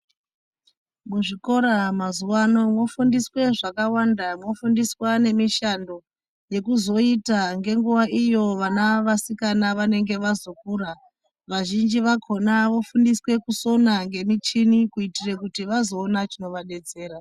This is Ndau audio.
Muzvikora mazuwano vofundiswe zvakawanda vofundiswa nemishando yekuzoita ngenguwa iyo vana vasikana vanenge vazokura vazhinji vakhona vofundiswe kusona ngemuchini kuitira kuti vazoona chinovadetsera.